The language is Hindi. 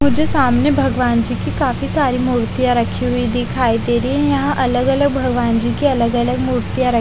मुझे सामने भगवान जी की काफी सारी मूर्तियाँ रखी हुयी दिखाई दे रही है यहाँ अलग-अलग भगवान जी की अलग-अलग मूर्तियाँ--